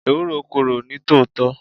Ewúro korò ní tòótọ́.